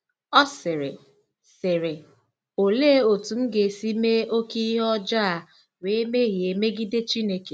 Ọ sịrị: sịrị: “Olee otú m ga-esi mee oké ihe ọjọọ a wee mehie megide Chineke?